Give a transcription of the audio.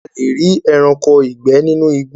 a le rí ẹranko ìgbẹ nínú igbó